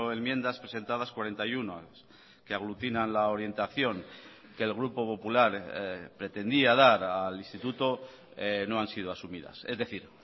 enmiendas presentadas cuarenta y uno que aglutinan la orientación que el grupo popular pretendía dar al instituto no han sido asumidas es decir